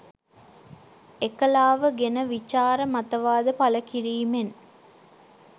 එකලාව ගෙන විචාර මතවාද පළ කිරීමෙන්